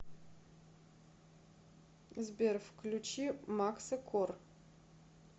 сбер включи макса кор